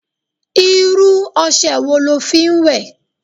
Irú ose wo lo fi ń wẹ?